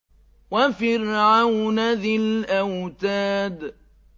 وَفِرْعَوْنَ ذِي الْأَوْتَادِ